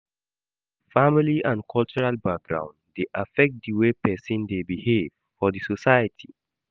Family and cultural background de affect di way persin de behave for di society